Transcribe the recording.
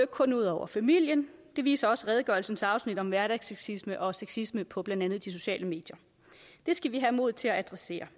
kun ud over familien det viser også redegørelsens afsnit om hverdagssexisme og sexisme på blandt andet de sociale medier det skal vi have mod til at adressere